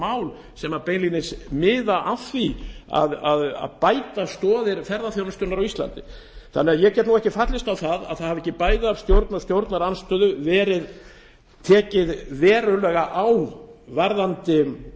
mál sem beinlínis miða að því að bæta stoðir ferðaþjónustunnar á íslandi ég get ekki fallist á að það hafi ekki bæði af stjórn og stjórnarandstöðu verið tekið verulega á í